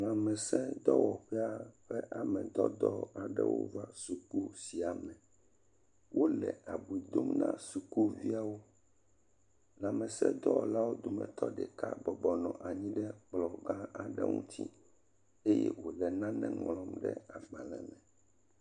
Lãmesẽdɔwɔƒea ƒe amedɔdɔ aɖewo va suku sia me. Wole abui dom na sukuviawo. Lãmesẽdɔwɔla ɖeka bɔbɔ nɔ anyi ɖe kplɔ̃gã aɖe ŋuti eye wòle nane ŋlɔm ɖe agbalẽme.